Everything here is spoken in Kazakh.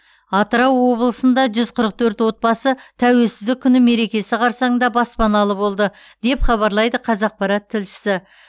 атырау облысында жүз қырық төрт отбасы тәуелсіздік күні мерекесі қарсаңында баспаналы болды деп хабарлайды қазақпарат тілшісі